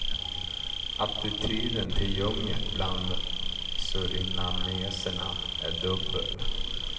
Attityden till djungeln bland surinameserna är dubbel.